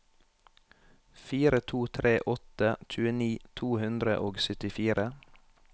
fire to tre åtte tjueni to hundre og syttifire